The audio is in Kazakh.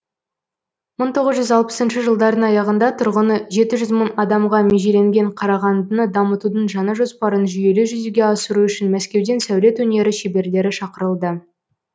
мың тоғыз жүз жетпісінші жылдардың аяғында тұрғыны жеті жүз мың адамға межеленген қарағандыны дамытудың жаңа жоспарын жүйелі жүзеге асыру үшін мәскеуден сәулет өнері шеберлері шақырылды